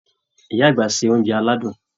Ìyá àgbà ṣe oúnjẹ aládùn.